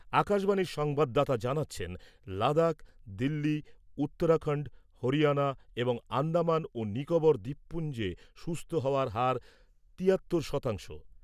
আকাশবাণীর সংবাদদাতা জানাচ্ছেন লাদাখ , দিল্লি , উত্তরাখন্ড , হরিয়ানা এবং আন্দামান ও নিকোবর দ্বীপপুঞ্জে সুস্থ হওয়ার হার তিয়াত্তর শতাংশ ।